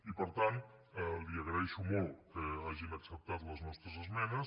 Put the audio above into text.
i per tant li agraeixo molt que hagin acceptat les nostres esmenes